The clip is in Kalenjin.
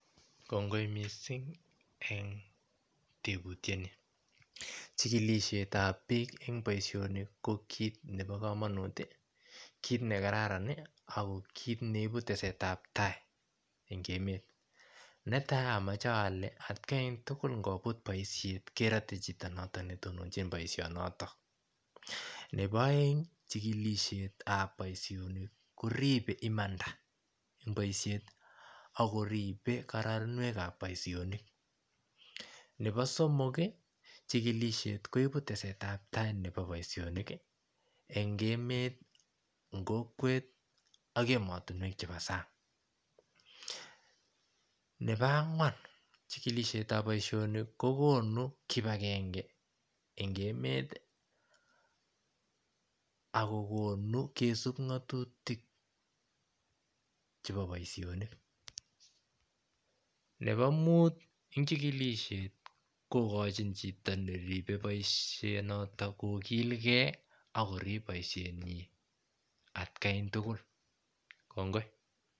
Kongoi missing en teputyoni chikilishetab bik en boishonik ko kit nebo komonut kit nekararan nii ako kit neibu tesetab tai en emet, netai omoche ole atkan tukul ngobut boishet kerotet chito noton netononchin boishonoton, nebo eng chikilishetab boishonik koribe imanda en boishet ak koribe koraa ak koribe kororonunuekab boishonik, nebo somok kii chikilishet koibu tesetab tai nebo boishonik en emet, en kokwet ak emotunwek chebo sang. Nebo angwan chikilishetab boishoni kokonu kipagenge en emet akokonu kisub ngotutik chebo boishonik, nebo mut en chikilishet kokochin chito neribe boishet noton kikilgee koib boishenyin atgai tukul kongoi.